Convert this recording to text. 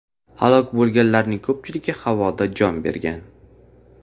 Halok bo‘lganlarning ko‘pchiligi havoda jon bergan.